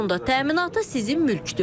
Bunun da təminatı sizin mülkdür.